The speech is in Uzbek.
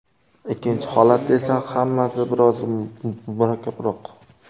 Ikkinchi holatda esa hammasi biroz murakkabroq.